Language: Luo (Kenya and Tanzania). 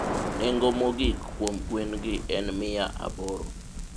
nengo mogik kuom gwen gi en miya aboro